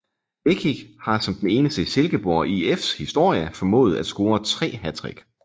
Lekic har som den eneste i Silkeborg IFs historie formået at score tre hattrick